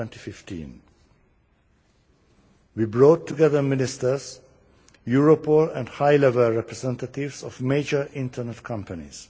2015. We brought together ministers, Europol and high level representatives of major internet companies.